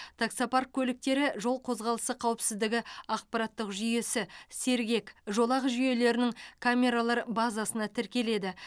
таксопарк көліктері жол қозғалысы қауіпсіздігі ақпараттық жүйесі сергек жолақ жүйелерінің камералар базасына тіркеледі